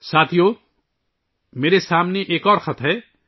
ساتھیو ، میرے سامنے ایک اور خط ہے